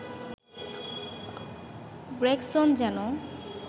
Gregson যেন